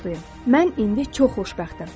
Mən indi çox xoşbəxtəm.